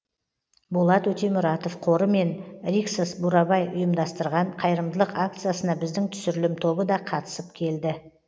болат өтемұратов қоры мен риксос бурабай ұйымдастырған қайырымдылық акциясына біздің түсірілім тобы да қатысып келді